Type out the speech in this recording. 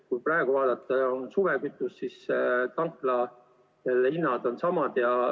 Kuid praegu, mil kasutusel on suvekütus, on tanklahinnad samad.